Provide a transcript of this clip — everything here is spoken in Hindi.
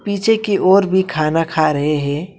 पीछे की और भी खाना खा रहे हैं।